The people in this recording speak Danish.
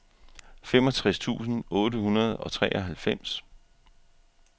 femogtres tusind otte hundrede og treoghalvfems